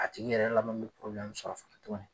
A tigi yɛrɛ laban bɛ sɔrɔ